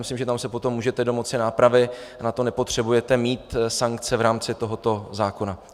Myslím, že tam se potom můžete domoci nápravy, na to nepotřebujete mít sankce v rámci tohoto zákona.